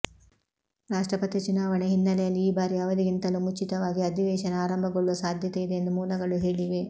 ರಾಷ್ಟ್ರಪತಿ ಚುನಾವಣೆ ಹಿನ್ನೆಲೆಯಲ್ಲಿ ಈ ಬಾರಿ ಅವಧಿಗಿಂತಲೂ ಮುಚಿತವಾಗಿ ಅಧಿವೇಶನ ಆರಂಭಗೊಳ್ಳುವ ಸಾಧ್ಯತೆ ಇದೆ ಎಂದೂ ಮೂಲಗಳು ಹೇಳಿವೆ